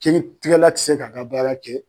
Kiritigɛla ti se k'a ka baara kɛ